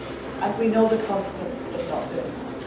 And we know the consequences of not doing